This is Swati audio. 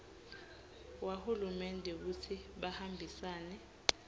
wahulumende kutsi bahambisane